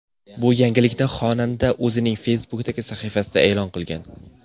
Bu yangilikni xonanda o‘zining Facebook’dagi sahifasida e’lon qilgan .